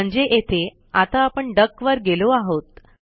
म्हणजे येथे आता आपण डक वर गेलो आहोत